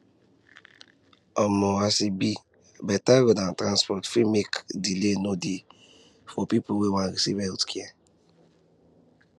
um as e be better roads and transport fit make delay no dey for people wey one receive healthcare